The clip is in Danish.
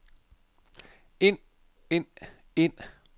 ind ind ind